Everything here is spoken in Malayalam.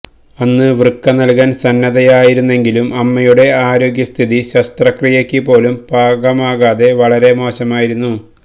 അന്ന് വൃക്ക നല്കാന് സന്നദ്ധയായിരുന്നെങ്കിലും അമ്മയുടെ ആരോഗ്യസ്ഥിതി ശസ്ത്രക്രിയക്ക് പോലും പാകമാകാതെ വളരെ മോശമായിരുന്നു